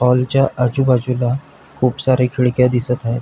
हॉलच्या आजूबाजूला खूप साऱ्या खिडक्या दिसत आहे.